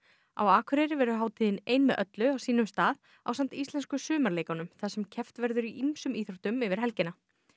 á Akureyri verður hátíðin ein með öllu á sínum stað ásamt Íslensku þar sem keppt verður í ýmsum íþróttum yfir helgina